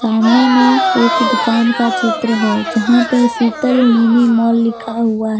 सामने में एक दुकान का चित्र है यहां पे शीतल मिनी मॉल लिखा हुआ है।